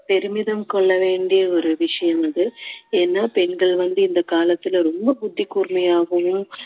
பெருமிதம் கொள்ள வேண்டிய ஒரு விஷயம் அது ஏன்னா பெண்கள் வந்து இந்த காலத்துல ரொம்ப புத்தி கூர்மையாகவும்